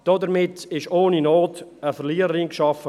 Damit wurde ohne Not eine Verliererin geschaffen.